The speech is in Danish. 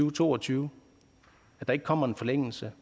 og to og tyve ikke kommer en forlængelse